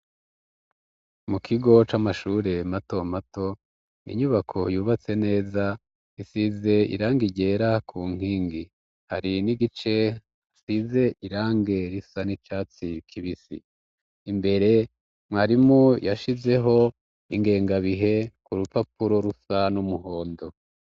Mu kigo c'amashure mato mato ninyubako yubatse neza isize iranga irera ku nkingi hari n'igice asize irange risa n'icatsi kibisi imbere mwarimu yashizeho ingenga bihe ku rupapuro rusa n'umwo mhondo.